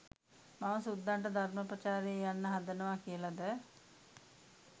මම සුද්දන්ට ධර්ම ප්‍රචාරයේ යන්න හදනවා කියලද